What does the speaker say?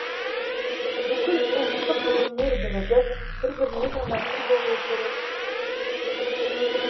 бүкіл ұлттық өнер бірігіп бір біріне жанашыр болуы керек